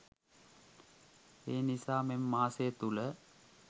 එනිසා මෙම මාසය තුළ